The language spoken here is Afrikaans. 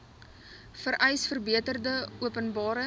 vereis verbeterde openbare